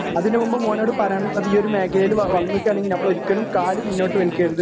അതുന്നു മുമ്പ് മോനോട് പറയാനുള്ളത് ഈ ഒരു മേഖലയില് വന്നിക്കാണെങ്കില് നമ്മളോരിക്കലും കാല് പിന്നോട്ട് വലിക്കരുത് എന്നാണ്